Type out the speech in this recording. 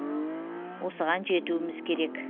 осыған жетуіміз керек